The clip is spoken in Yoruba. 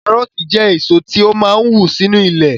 Kárọ̀ọ̀tì jẹ́ èso tó máa n wù sínu ilẹ̀